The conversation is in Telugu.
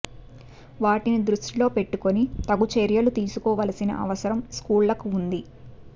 వాటిని దృష్టిలో పెట్టుకుని తగు చర్యలు తీసుకోవలసిన అవసరం స్కూళ్లకు ఉంది